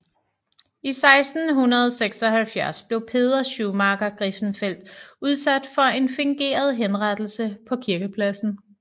I 1676 blev Peder Schumacher Griffenfeld udsat for en fingeret henrettelse på kirkepladsen